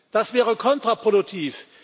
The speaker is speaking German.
Das wäre kontraproduktiv.